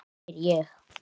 spyr ég.